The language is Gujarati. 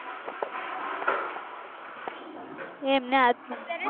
એમને